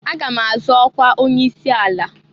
Aga m azọ ọkwa onye isi ala.